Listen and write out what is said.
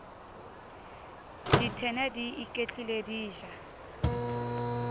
dithena di iketlile di ja